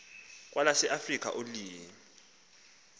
kwelase afrika ilwimi